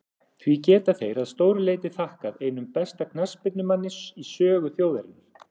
Því geta þeir að stóru leyti þakkað einum besta knattspyrnumanni í sögu þjóðarinnar.